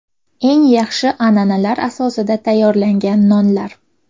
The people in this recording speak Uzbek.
Eng yaxshi an’analar asosida tayyorlangan nonlar!.